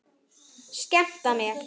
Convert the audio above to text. Skemmta mér?